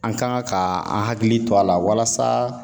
An kan ŋa ka an hakili to a la walasa